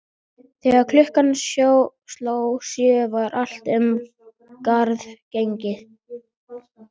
Þegar klukkan sló sjö var allt um garð gengið.